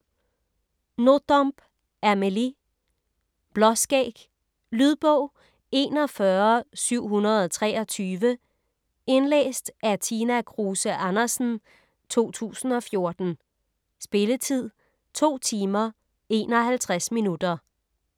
Nothomb, Amélie: Blåskæg Lydbog 41723 Indlæst af Tina Kruse Andersen, 2014. Spilletid: 2 timer, 51 minutter.